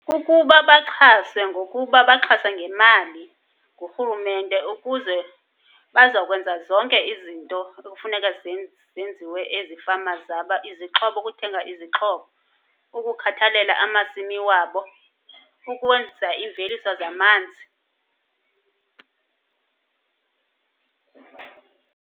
Kukuba baxhase ngokuba baxhase ngemali ngurhurumente ukuze bazakwenza zonke izinto ekufuneka zenziwe ezifama zabo. Izixhobo, ukuthenga izixhobo, ukukhathalela amasimi wabo, ukwenza imveliso zamanzi.